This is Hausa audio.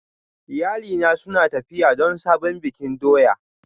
Iyalina suna tafiya don sabon bikin doya